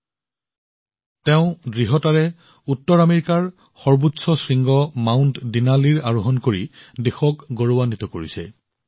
উচ্চ উৎসাহৰ সৈতে পূৰ্ণাই উত্তৰ আমেৰিকাৰ সৰ্বোচ্চ শৃংগ মাউণ্ট দীনালীৰ আৰোহণ সম্পূৰ্ণ কৰি দেশক গৌৰৱান্বিত কৰিছে